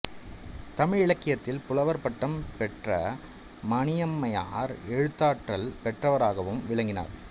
தமிழிலக்கியத்தில் புலவர் பட்டம் பெற்ற மணியம்மையார் எழுத்தாற்றல் பெற்றவராகவும் விளங்கினார்